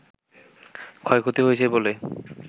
ক্ষয়ক্ষতি হয়েছে বলে